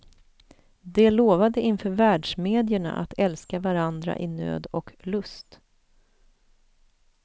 De lovade inför världsmedierna att älska varandra i nöd och lust.